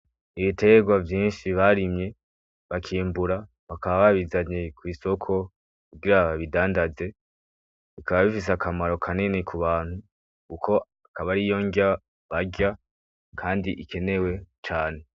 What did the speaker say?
Ibitegwa vyinshi barimye bakimbura bakaba babizanye kw'isoko kugira babidandaze, bikaba bifise akamaro kanini ku bantu kuko aba ariyo nrya barya kandi ikenewe cane.